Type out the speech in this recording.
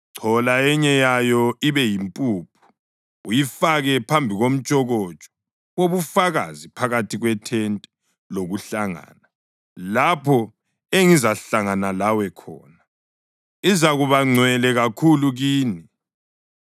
Chola enye yayo ibe yimpuphu uyifake phambi komtshokotsho wobufakazi phakathi kwethente lokuhlangana lapho engizahlangana lawe khona. Izakuba ngcwele kakhulu kini.